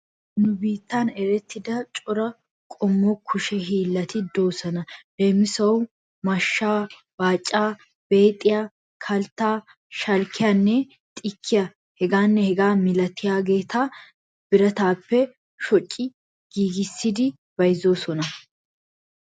Nu biittan erettida cora qommo kushe hiillati de'oosona. Leemisuwawu mashshaa; baacaa; beexiya; kalttaa; shalkkiyanne xikkiyaa hegaanna hegaa malatiyageeta birataappe shoci giigissidi byzzoosona.